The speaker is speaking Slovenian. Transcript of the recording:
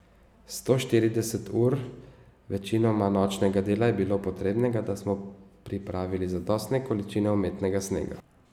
Sto štirideset ur večinoma nočnega dela je bilo potrebnega, da smo pripravili zadostne količine umetnega snega.